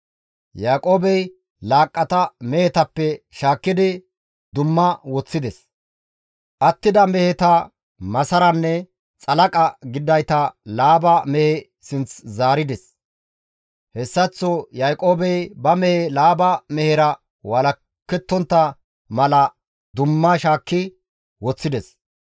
Yaaqoobey laaqqata mehetappe shaakkidi dumma woththides; attida meheta masaranne xalaqa gididayta Laaba mehe sinth zaarides; hessaththo Yaaqoobey ba mehe Laaba mehera walakettontta mala dumma shaakki woththides.